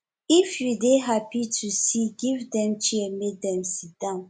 if you dey happy to see give dem chair make dem sidon